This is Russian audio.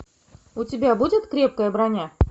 у тебя будет крепкая броня